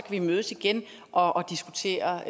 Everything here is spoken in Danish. vi mødes igen og diskutere